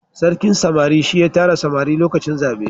sarkin samari shi ya tara samari lokacin zabe